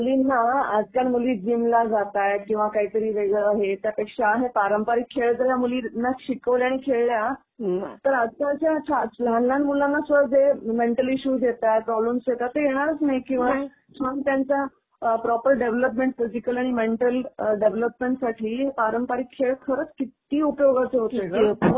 म्हणजे मुलींना, आज ज्या मुली जीम ला जातायेत किंवा काहीतरी वेगळं हे त्यापेक्षा हे पारंपरिक खेळ जर या मुलींना शिकवले आणि खेळल्या तर आजकालच्या लहान लहान मुलांना सुद्धा जे मेंटल इश्यूज येतात, प्रॉब्लेम्स येतात ते येणारच नाहीत. किंवा छान त्यांचा प्रॉपर डेव्हलपमेंट फिजिकल आणि मेंटल डेव्हलपमेंटसाठी हे पारंपरिक खेळ खरच कित्ती उपयोगाचे होते ग?